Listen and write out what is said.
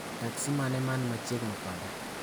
teksi mane man machiegni koda